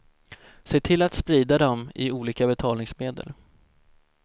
Se till att sprida dem i olika betalningsmedel.